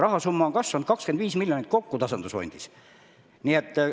Rahasumma on tasandusfondis kasvanud kokku 25 miljonit.